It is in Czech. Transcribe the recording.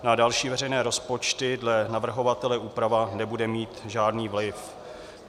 Na další veřejné rozpočty dle navrhovatele úprava nebude mít žádný vliv.